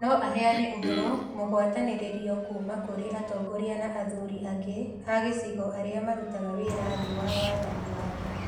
No aheane ũhoro mũgwatanĩrĩrio kuuma kũrĩ atongoria na athuri angĩ a gĩcigo arĩa marutaga wĩra thĩ wa wathani wake.